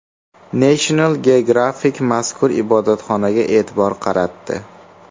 National Geographic mazkur ibodatxonaga e’tibor qaratdi .